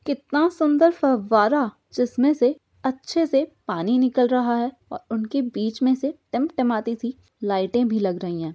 कितना सुंदर फव्वारा जिसमें से अच्छे से पानी निकल रहा है और उनकी बीच में से टिम टमाती सी लाइटें भी लग रही है।